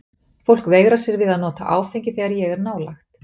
Fólk veigrar sér við að nota áfengi þegar ég er nálægt.